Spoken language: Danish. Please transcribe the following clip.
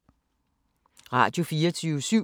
Radio24syv